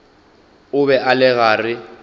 o be a le gare